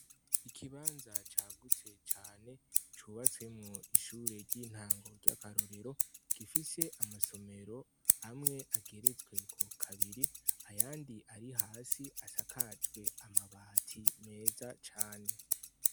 Ikibanza cagutse cane cubatsemwo ishure ry' intango ry' akarorero gifise amasomero amwe ageretsweko kabiri ayandi ari hasi asakajwe amabati meza cane.